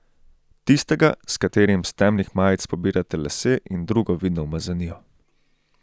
Tistega, s katerim s temnih majic pobirate lase in drugo vidno umazanijo.